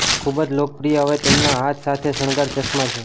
ખૂબ જ લોકપ્રિય હવે તેમના હાથ સાથે શણગાર ચશ્મા છે